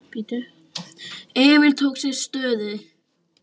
Emil tók sér stöðu.